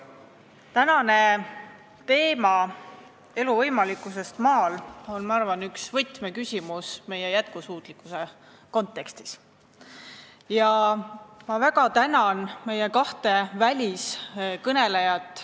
Ma arvan, et tänane teema "Elu võimalikkusest maal" on üks võtmeküsimus meie jätkusuutlikkuse kontekstis, ja ma väga tänan meie kahte väliskõnelejat.